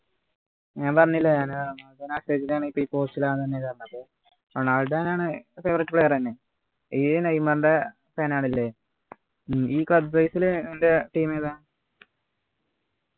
ഞാൻ പറഞ്ഞില്ലേ ഞാന് ആണ് പ്പോ ഈ പോർച്ചുഗലാണ് അത് റൊണാൾഡോ ണ് favourite player എന്നെ ഈ നെയ്മറിൻ്റെ fan ആണ് ല്ലേ ഉം ഈ ലു നിൻ്റെ team ഏതാ